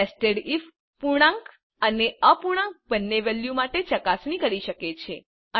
nested if પૂર્ણાંક અને અપૂર્ણાંક બંને વેલ્યુ માટે ચકાસણી કરી શકે છે